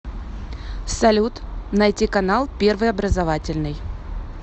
салют найти канал первый образовательный